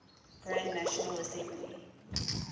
grand national assembly